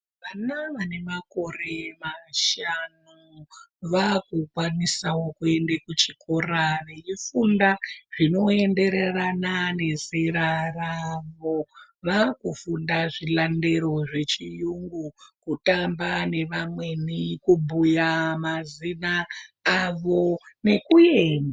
Vana vanemakore mashanu vakukwanisa kuende kuchikora veifunda zvinoendererana nezera ravo, vakufunda zvilandero zvechiyungu, kutamba nevamweni kubhuya mazina avo nekuemba.